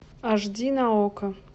аш ди на окко